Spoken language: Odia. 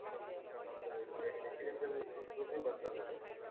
ତାପରେ residential proof ଫ୍ରୂପ ବି ଦରକାର ବୋଧେ